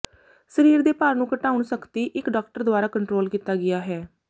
ਸਰੀਰ ਦੇ ਭਾਰ ਨੂੰ ਘਟਾਉਣ ਸਖਤੀ ਇੱਕ ਡਾਕਟਰ ਦੁਆਰਾ ਕੰਟਰੋਲ ਕੀਤਾ ਗਿਆ ਹੈ